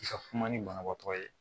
I ka kuma ni banabaatɔ ye